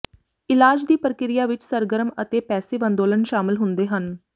ਇਲਾਜ ਦੀ ਪ੍ਰਕਿਰਿਆ ਵਿੱਚ ਸਰਗਰਮ ਅਤੇ ਪੈਸਿਵ ਅੰਦੋਲਨ ਸ਼ਾਮਲ ਹੁੰਦੇ ਹਨ